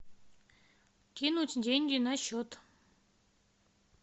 кинуть деньги на счет